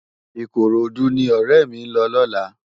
Ikorodu ni òrè mi n lò lòlá